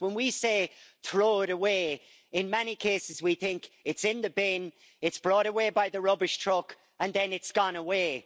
When we say throw it away', in many cases we think it's in the bin, it's brought away by the rubbish truck and then it's gone away'.